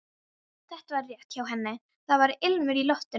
Þetta var rétt hjá henni, það var ilmur í loftinu.